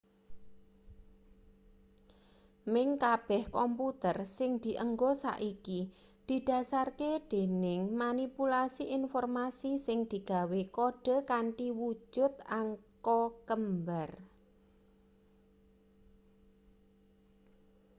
meh kabeh komputer sing dienggo saiki didhasarke dening manipulasi informasi sing digawe kode kanthi wujut angka kembar